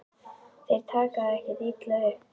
Þeir taka það ekkert illa upp.